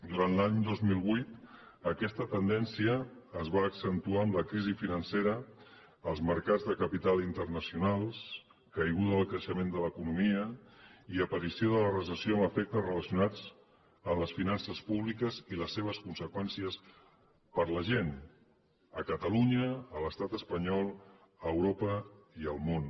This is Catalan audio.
durant l’any dos mil vuit aquesta tendència es va accentuar amb la crisi financera als mercats de capital internacionals caiguda del creixement de l’economia i aparició de la recessió amb efectes relacionats amb les finances públiques i les seves conseqüències per a la gent a catalunya a l’estat espanyol a europa i al món